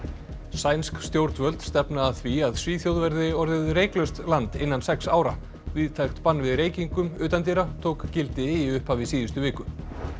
sænsk stjórnvöld stefna að því að Svíþjóð verði orðið reyklaust land innan sex ára víðtækt bann við reykingum utandyra tók gildi í upphafi síðustu viku